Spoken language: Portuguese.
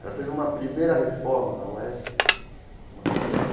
Ela fez uma primeira reforma na UESP uma primeira